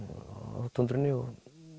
á túndrunni og